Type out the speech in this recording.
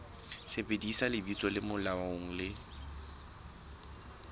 sebedisa lebitso le molaong le